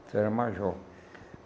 Isso era major.